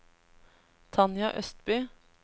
Tanja Østby